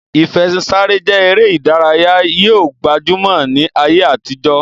Ìfẹṣinsáré je ere idaraya yi o gbajumo ni aye atijo.